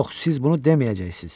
Yox, siz bunu deməyəcəksiniz.